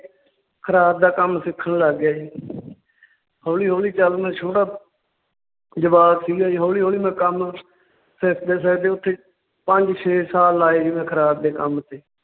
ਖਰਾਦ ਦਾ ਕੰਮ ਸਿੱਖਣ ਲੱਗ ਗਿਆ ਜੀ ਹੌਲੀ ਹੌਲੀ ਚੱਲ ਮੈਂ ਛੋਟਾ ਜਵਾਕ ਸੀਗਾ ਜੀ, ਹੌਲੀ ਹੌਲੀ ਮੈਂ ਕੰਮ ਸਿੱਖਦੇ ਸਿੱਖਦੇ ਉੱਥੇ ਪੰਜ ਛੇ ਸਾਲ ਲਾਏ ਜੀ ਖਰਾਦ ਦੇ ਕੰਮ ਤੇ